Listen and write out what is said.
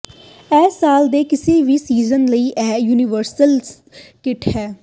ਇਹ ਸਾਲ ਦੇ ਕਿਸੇ ਵੀ ਸੀਜ਼ਨ ਲਈ ਇਕ ਯੂਨੀਵਰਸਲ ਕਿੱਟ ਹੈ